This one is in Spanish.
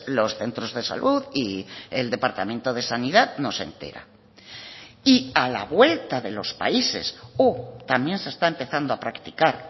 los centros de salud y el departamento de sanidad no se entera y a la vuelta de los países o también se está empezando a practicar